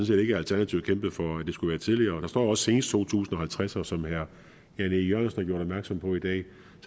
set ikke at alternativet kæmpede for at det skulle være tidligere og der står også senest to tusind og halvtreds og som herre jan e jørgensen har gjort opmærksom på i dag